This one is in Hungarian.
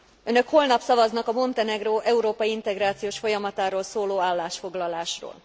Önök holnap szavaznak a Montenegró európai integrációs folyamatáról szóló állásfoglalásról.